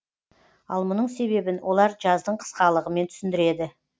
ал мұның себебін олар жаздың қысқалығымен түсіндіреді